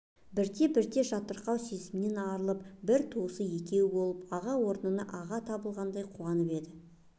бірте-бірте жатырқау сезімнен арылып бір туысы екеуі болып аға орнына аға табылғандай қуанып еді